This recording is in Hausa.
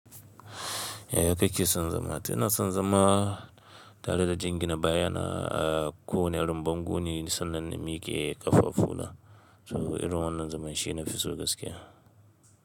Ya kake son zama? To ina son zama. Tare da jingina baya na a ko wanne irin bango ne sannan na miƙe ƙafafu na. To irin wannan zaman shi na fi so gaskiya.